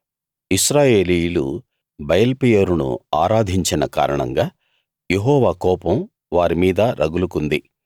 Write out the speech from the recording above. ఇశ్రాయేలీయులు బయల్పెయోరును ఆరాధించిన కారణంగా యెహోవా కోపం వారి మీద రగులుకుంది